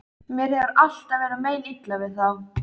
Mér hefur alltaf verið meinilla við þá.